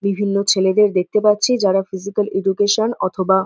বিভিন্ন ছেলেদের দেখতে পাচ্ছি যারা ফিজিকাল এডুকেশন অথবা--